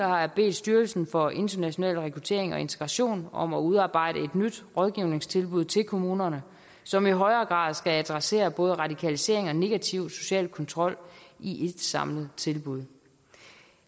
har jeg bedt styrelsen for international rekruttering og integration om at udarbejde et nyt rådgivningstilbud til kommunerne som i højere grad skal adressere både radikalisering og negativ social kontrol i et samlet tilbud